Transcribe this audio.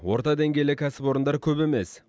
орта деңгейлі кәсіпорындар көп емес